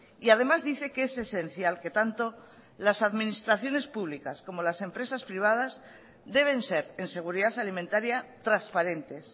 y además dice que es esencial que tanto las administraciones públicas como las empresas privadas deben ser en seguridad alimentaria transparentes